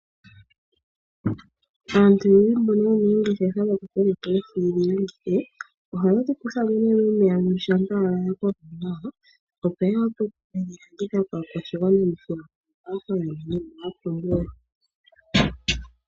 Aantu oyendji mboka ye na oongeshefa dhokukokeka dhoohi yedhi landithe ohaye dhi kutha mo momeya shampa dha koko nawa yo ye ke dhi landithe kaakwashigwana.